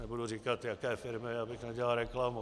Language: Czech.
Nebudu říkat jaké firmy, abych nedělal reklamu.